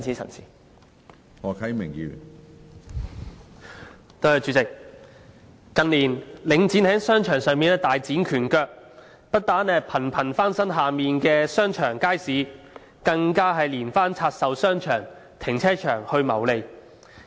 主席，近年領展房地產投資信託基金在商場上大展拳腳，不但頻頻翻新旗下商場、街市，更連番透過拆售商場、停車場來謀利。